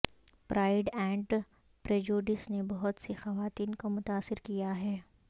pride and Prejudice نے بہت سی خواتین کو متاثر کیا ہے